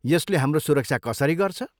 यसले हाम्रो सुरक्षा कसरी गर्छ?